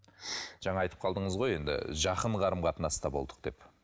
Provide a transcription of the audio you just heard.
жаңа айтып қалдыңыз ғой енді жақын қарым қатынаста болдық деп